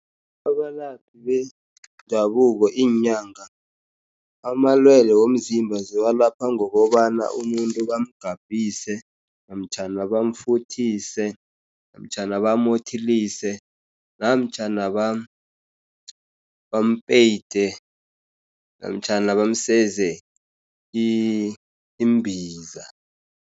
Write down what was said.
Abalaphi bendabuko, iinyanga amalwele womzimba ziwalapha ngokobana umuntu bamgabhise, namtjhana bamfuthise, namtjhana bamothelise, namtjhana bampeyide namtjhana bamseze imbiza.